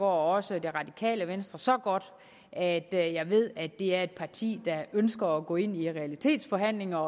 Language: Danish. også det radikale venstre så godt at jeg ved at det er et parti der ønsker at gå ind i realitetsforhandlinger